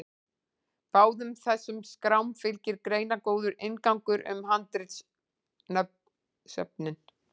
báðum þessum skrám fylgir greinargóður inngangur um handritasöfnin